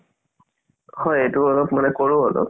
হয় এইটো অলপ মানে কৰো অলপ